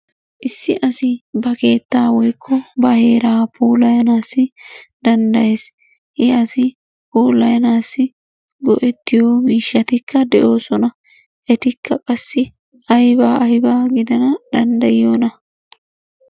Issi asi ba keettaa woykko ba heeraa puulayanaassi danddayees, he asi puulayanssi go'ettiyo miishshattikka de'oosona. Etikka qassi ayba aybaa gidana danddayiyona?